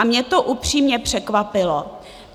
A mě to upřímně překvapilo.